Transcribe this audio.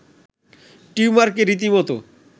টিউমারকে রীতিমত